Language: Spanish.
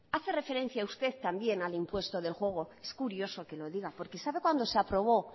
hace referencia usted también al impuesto del juego es curioso que lo diga porque sabe cuándo se aprobó